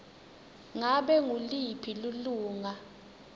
ngabe nguliphi lilunga